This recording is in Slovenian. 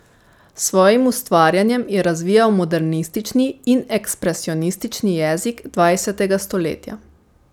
S svojim ustvarjanjem je razvijal modernistični in ekspresionistični jezik dvajsetega stoletja.